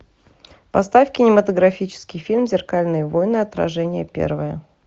поставь кинематографический фильм зеркальные войны отражение первое